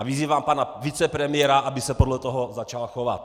A vyzývám pana vicepremiéra, aby se podle toho začal chovat!